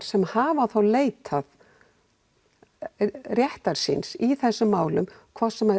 sem hafa leitað réttar síns í þessum málum hvort sem